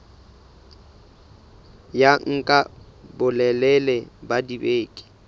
ya nka bolelele ba dibeke